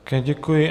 Také děkuji.